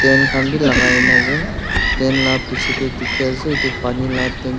tent khan bi lakai na ase tent la bichae tae dikhi ase pani la tank--